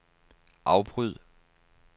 afbryd